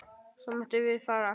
Svo máttum við fara.